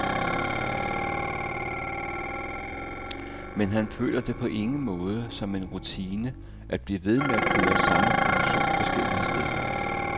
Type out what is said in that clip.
Men han føler det på ingen måde som en rutine at blive ved med at køre samme produktion forskellige steder.